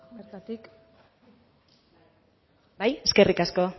bertatik bai eskerrik asko